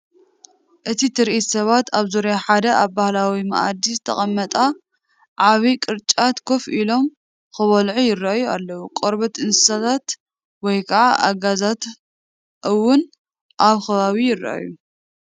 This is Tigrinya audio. እቲ ትርኢት ሰባት ኣብ ዙርያ ሓደ ኣብ ባህላዊ ማኣዲ ዝተቐመጠ ዓቢ ቅርጫት ኮፍ ኢሎም ክበልዑ ይራኣዩ ኣለው። ቆርበት እንስሳታት ወይ ከዓ ኣጋዛታት እውን ኣብቲ ከባቢ ይርአ።